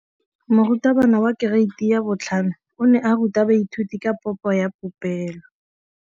Moratabana wa kereiti ya 5 o ne a ruta baithuti ka popô ya polelô.